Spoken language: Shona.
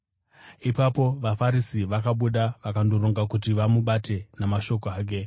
Ipapo vaFarisi vakabuda vakandoronga kuti vamubate namashoko ake.